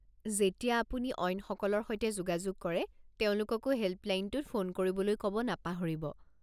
যেতিয়া আপুনি অইনসকলৰ সৈতে যোগাযোগ কৰে, তেওঁলোককো হেল্পলাইনটোত ফোন কৰিবলৈ ক'ব নাপাহৰিব।